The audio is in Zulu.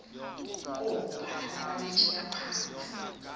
kobhanana bapitshika patsha